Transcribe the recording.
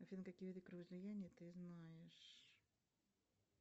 афина какие виды кровоизлияния ты знаешь